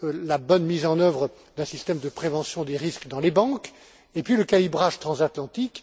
la bonne mise en œuvre d'un système de prévention des risques dans les banques, et puis le calibrage transatlantique.